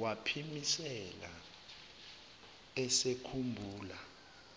waphimisela esekhumbula